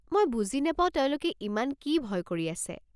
মই বুজি নাপাও তেওঁলোকে ইমান কি ভয় কৰি আছে।